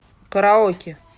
караоке